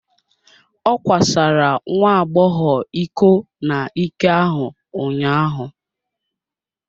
Ọ kwasara nwa agbọghọ iko n'ike ahụ ụnyaahụ.